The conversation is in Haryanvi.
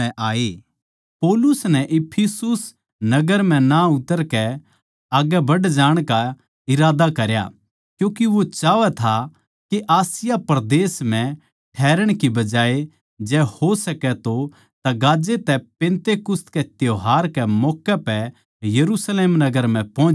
पौलुस नै इफिसुस नगर म्ह ना उतरकै आग्गै बढ़ जाण का इरादा करया क्यूँके वो चाहवै था के आसिया परदेस म्ह ठैहरण की बजाए जै हो सक्या तो तगाजै तै पिन्तेकुस्त कै त्यौहार के मौक्के पै यरुशलेम नगर म्ह पोहच जावै